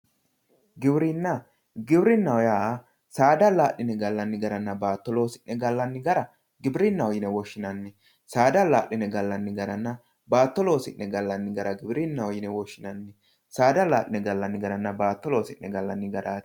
Giwirinna, giwirinaho yaa saada ala'linenna baatto loosi'ne gallanni gara giwirinaho yine woshshinanni, saada ala'line gallanni garanna baatto loosi'ne gallani gara giwirinaho yine woshshinanni ,saada ala'linenna baatto loosi'ne gallani garati.